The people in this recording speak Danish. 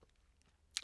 TV 2